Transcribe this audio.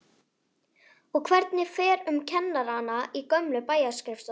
Og hvernig fer um kennarana í gömlu bæjarskrifstofunum?